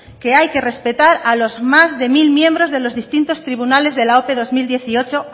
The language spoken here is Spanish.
que hay que respetar a los más de mil miembros de los distintos tribunales de la ope dos mil dieciocho